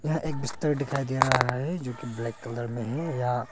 यह एक बिस्तर दिखाई दे रहा है जोकि ब्लैक कलर में है या--